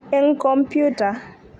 eng kompyuta.